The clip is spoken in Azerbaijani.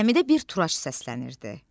Zəmidə bir turaç səslənirdi.